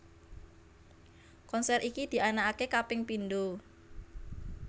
Konser iki dianakake kaping pindho